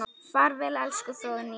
Far vel elsku Fróðný.